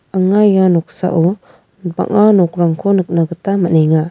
anga ia noksao bang·a nokrangko nikna gita man·enga.